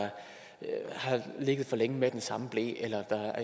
ligget for længe med den samme ble eller at der